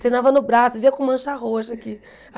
Treinava no braço, vivia com mancha roxa aqui.